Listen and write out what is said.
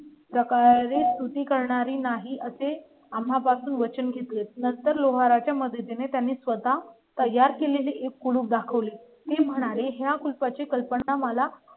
सकाळी स्तुती करणारी नाही असे आम्हां पासून वचन घेतले. त्यानंतर लोहारा च्या मदतीने त्याने स्वतः तयार केलेली एक कुलूप दाखवली म्हणाले, या कुलपा ची कल्पना मला